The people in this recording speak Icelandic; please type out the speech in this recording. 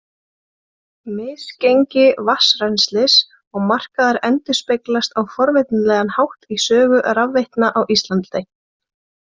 Misgengi vatnsrennslis og markaðar endurspeglast á forvitnilegan hátt í sögu rafveitna á Íslandi.